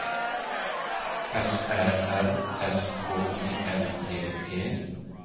S Æ R S K I L T E